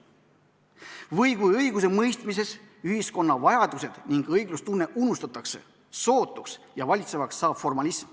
Või kui õigusemõistmises ühiskonna vajadused ning õiglustunne unustatakse sootuks ja valitsevaks saab formalism.